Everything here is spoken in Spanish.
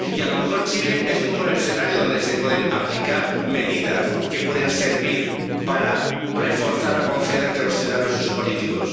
Y a lo mejor Chile es un buen escenario donde se pueden aplicar medidas que pueden servir para reforzar la confianza entre los ciudadanos y sus políticos.